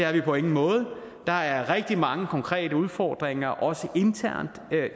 er vi på ingen måde der er rigtig mange konkrete udfordringer også internt